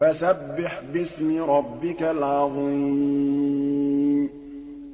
فَسَبِّحْ بِاسْمِ رَبِّكَ الْعَظِيمِ